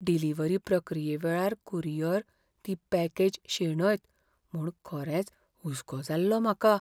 Delivery प्रक्रिये वेळार courier ती पॅकेज शेणयत म्हूण खरेंच हुसको जाल्लो म्हाका.